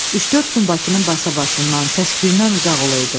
Üç-dörd gün Bakının basa-basından, səs-küyündən uzaq olaydı.